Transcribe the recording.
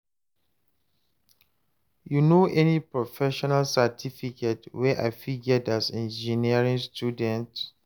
you know any professional certificate wey I fit get as engineering student?